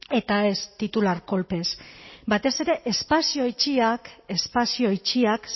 eta ez titular kolpez batez ere espazio itxiak espazio itxiak